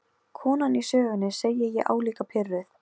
Nói, hækkaðu í græjunum.